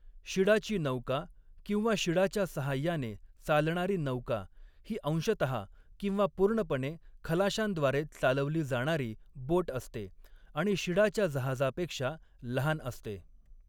शिडाची नौका किंवा शिडाच्या साहाय्याने चालणारी नौका ही अंशतः किंवा पूर्णपणे खलाशांद्वारे चालवली जाणारी बोट असते आणि शिडाच्या जहाजापेक्षा लहान असते.